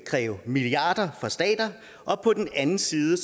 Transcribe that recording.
kræve milliarder af stater og på den anden side